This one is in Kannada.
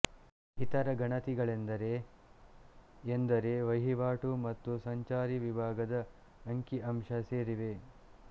ಇತರ ಗಣತಿಗಳೆಂದರೆ ಎಂದರೆ ಕೃಷಿವಹಿವಾಟು ಮತ್ತು ಸಂಚಾರಿ ವಿಭಾಗದ ಅಂಕಿಅಂಶ ಸೇರಿವೆ